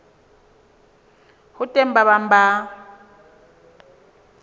ho teng ba bang ba